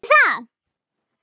Sástu það?